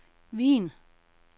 Wien